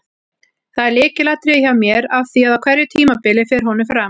Það er lykilatriði hjá mér af því að á hverju tímabili fer honum fram.